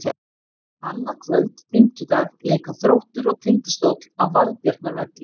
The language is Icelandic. Annað kvöld, fimmtudag, leika Þróttur og Tindastóll á Valbjarnarvelli.